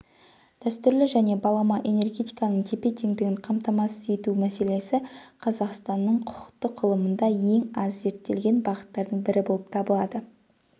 дәстүрлі және балама энергетиканың тепе-теңдігін қамтамасыз ету мәселесі қазақстанның құқықтық ғылымында ең аз зерттелген бағыттардың бірі болып табылады